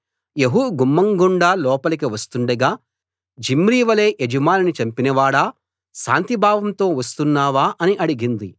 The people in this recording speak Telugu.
యెహూ గుమ్మం గుండా లోపలికి వస్తుండగా జిమ్రీ వలే యజమానిని చంపినవాడా శాంతి భావంతో వస్తున్నావా అని అడిగింది